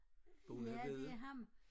Ja det er ham